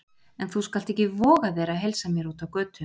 En þú skalt ekki voga þér að heilsa mér úti á götu!